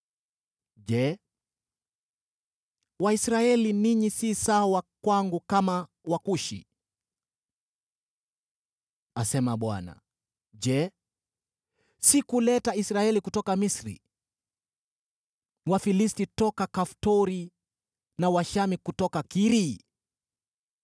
“Je, Waisraeli, ninyi si sawa kwangu kama Wakushi?” asema Bwana . “Je, sikuleta Israeli kutoka Misri, Wafilisti kutoka Kaftori, na Washamu kutoka Kiri?